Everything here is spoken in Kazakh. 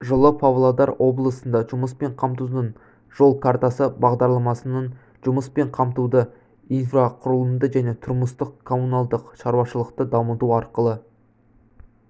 жылы павлодар облысында жұмыспен қамтудың жол картасы бағдарламасының жұмыспен қамтуды инфрақұрылымды және тұрмыстық-коммуналдық шаруашылықты дамыту арқылы